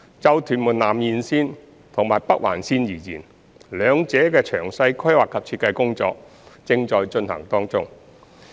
就屯門南延綫及北環綫而言，兩者的詳細規劃及設計工作正在進行中。